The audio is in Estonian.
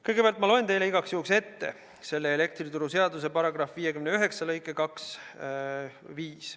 Kõigepealt loen teile igaks juhuks ette selle elektrituruseaduse § 59 lõike 25.